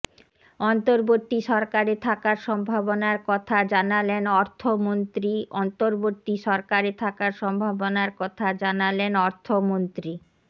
অন্তর্বর্তী সরকারে থাকার সম্ভাবনার কথা জানালেন অর্থমন্ত্রী অন্তর্বর্তী সরকারে থাকার সম্ভাবনার কথা জানালেন অর্থমন্ত্রী